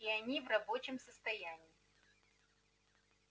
и они в рабочем состоянии